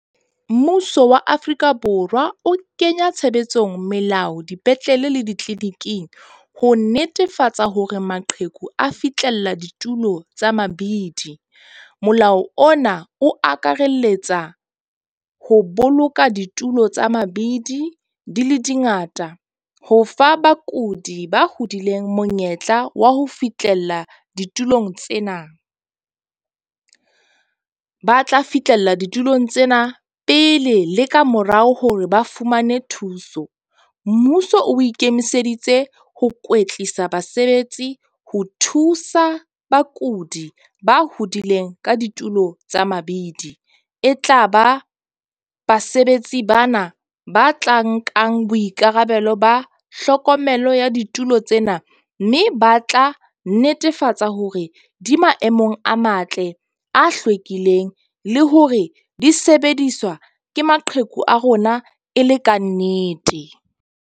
Mmuso wa Afrika Borwa o kenya tshebetsong melao, dipetlele le ditleniking ho netefatsa hore maqheku a fitlhela ditulo tsa mabidi. Molao ona o akaraletsa ho boloka ditulo tsa mabidi di le di ngata ho fa bakudi ba hodileng monyetla wa ho fihlella ditulong tsena. Ba tla fihlella ditulong tsena pele le ka morao hore ba fumane thuso. Mmuso o ikemiseditse ho kwetlisa basebetsi ho thusa bakudi ba hodileng ka ditulo tsa mabidi. E tla ba basebetsi bana ba tla nkang boikarabelo, ba hlokomelo ya ditulo tsena. Mme ba tla netefatsa hore di maemong a matle, a hlwekileng le hore di sebediswa ke maqheku a rona e le kannete.